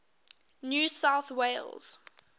new south wales